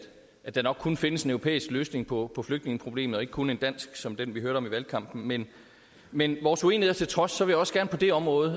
at der nok kun findes en europæisk løsning på på flygtningeproblemet og ikke kun en dansk som den vi hørte om i valgkampen men men vores uenigheder til trods vil jeg også gerne på det område